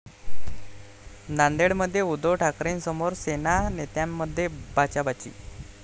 नांदेडमध्ये उद्धव ठाकरेंसमोरच सेना नेत्यांमध्ये बाचाबाची!